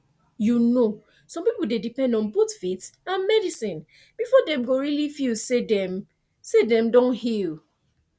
you know some people dey depend on both faith and medicine before dem go really feel say dem say dem don heal